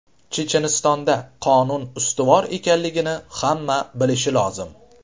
Chechenistonda qonun ustuvor ekanligini hamma bilishi lozim.